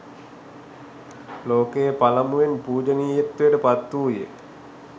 ලෝකයේ පළමුවෙන් පූජනීයත්වයට පත් වූයේ